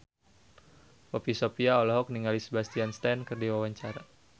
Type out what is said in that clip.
Poppy Sovia olohok ningali Sebastian Stan keur diwawancara